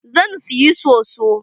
Zan siyi soso.